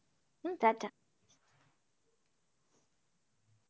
হম tata.